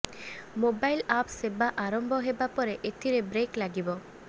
mobile app ସେବା ଆରମ୍ଭ ହେବା ପରେ ଏଥିରେ ବ୍ରେକ୍ ଲାଗିବ